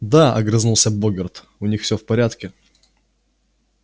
да огрызнулся богерт у них всё в порядке